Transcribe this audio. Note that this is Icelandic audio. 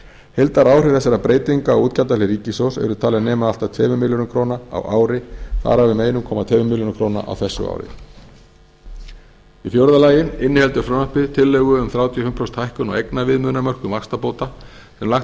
heildaráhrif þessara breytinga á útgjaldahlið ríkissjóðs eru talin nema allt að tveimur milljörðum króna á ári þar af um einn komma tveimur milljörðum króna á þessu ári í fjórða lagi inniheldur frumvarpið tillögu um þrjátíu og fimm prósenta hækkun á eignarviðmiðunarmörkum vaxtabóta sem lagt